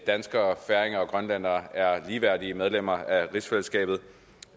danskere færinger og grønlændere er ligeværdige medlemmer af rigsfællesskabet